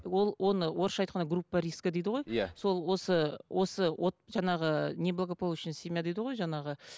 олл оны орысша айтқанда группа риска дейді ғой сол осы осы жаңағы неблагополучная семья дейді ғой жаңағы